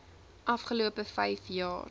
afgelope vyf jaar